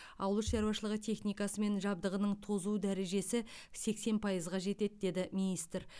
ауыл шаруашылығы техникасы мен жабдығының тозу дәрежесі сексен пайызға жетеді деді министр